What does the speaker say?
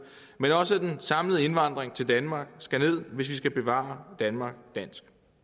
men også den samlede indvandring til danmark skal ned hvis vi skal bevare danmark dansk